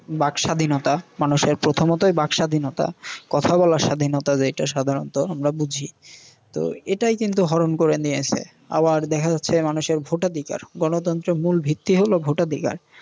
বাকস্বাধীনতা, মানুষের প্রথমতই বাকস্বাধীনতা, কথা বলার স্বাধীনতা যেইটা সাধারণত আমরা বুঝি। তো এটাই কিন্তু হরণ করে নিয়েছে। আবার দেখা যাচ্ছে মানুষের ভোটাধিকার। গনতন্ত্রের মূল ভিত্তি হল ভোটাধিকার।